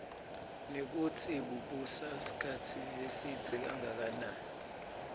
nekutsi bubusa sikhatsi lesidze kangakanani